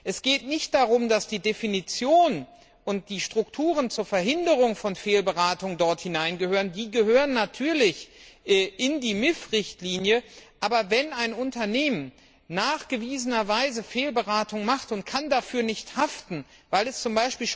Es geht nicht darum, dass die Definition und die Strukturen zur Verhinderung von Fehlberatung dort hinein gehören die gehören natürlich in die MIF Richtlinie aber wenn ein Unternehmen nachweislich Fehlberatung macht und dafür nicht haften kann, weil es z.